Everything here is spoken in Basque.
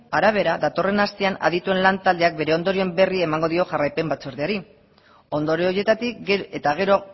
arabera datorren astean adituen lan taldeak bere ondorioen berri emango dio jarraipen batzordeari ondorio horietatik eta gero